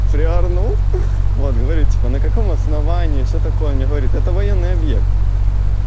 цилиарного план говорить на каком основании все такое говорит это военный объект